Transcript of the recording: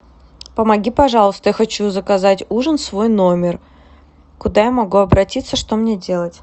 помоги пожалуйста я хочу заказать ужин в свой номер куда я могу обратиться что мне делать